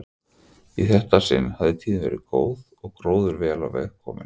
Í þetta sinn hafði tíðin verið góð og gróður vel á veg kominn.